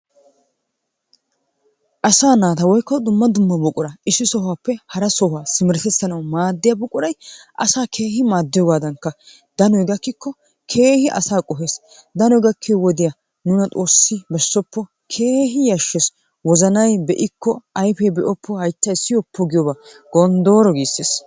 Asaa nataa woyko duma duma buqurattaa issi sohuwappe hara sohuwaa simeretisanawu madiya buquray asaa kehi madiyogadan danoy gakkiko kehi asaa qohessi, danoy gakiyoo wodiyaa nunna xossi bessoppo, kehi yashees, wozannay beikko, ayppe be'oppo, hayttay siyoppo viyoobaa gondorro giisees.